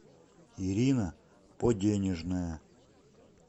ирина поденежная